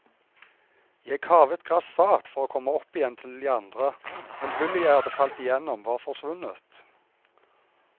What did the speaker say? Jeg kavet grassat for å komme opp igjen til de andre, men hullet jeg hadde falt igjennom var forsvunnet.